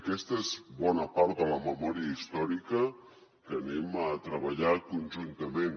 aquesta és bona part de la memòria històrica que treballarem conjuntament